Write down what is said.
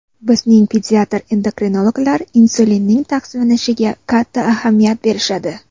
Bizning pediatr-endokrinologlar insulinning taqsimlanishiga katta ahamiyat berishadi.